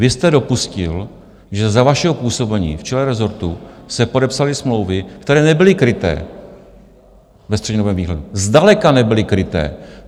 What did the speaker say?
Vy jste dopustil, že za vašeho působení v čele rezortu se podepsaly smlouvy, které nebyly kryté ve střednědobém výhledu, zdaleka nebyly kryté.